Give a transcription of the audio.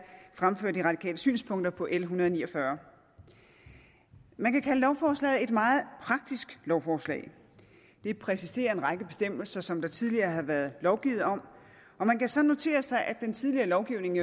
fremføre de radikales synspunkter på l en hundrede og ni og fyrre man kan kalde lovforslaget et meget praktisk lovforslag det præciserer en række bestemmelser som der tidligere har været lovgivet om og man kan så notere sig at den tidligere lovgivning